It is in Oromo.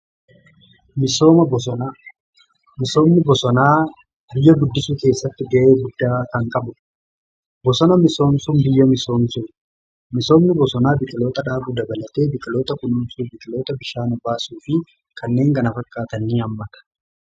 Misooma bosonaa: misoomni bosonaa biyya guddisuu keessatti ga'ee guddaa kan qabudha. Bosona misoomsuun biyya misoomsuu, misoomni bosonaa biqiloota dhaabuu dabalatee biqiloota kunuunsuu biqiloota bishaan baasuu fi kanneen kana fakkaatan hammata.